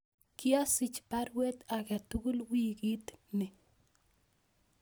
Koasich baruet agetugul wiikiit nii